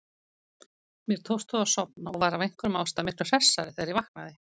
Mér tókst þó að sofna og var af einhverjum ástæðum miklu hressari þegar ég vaknaði.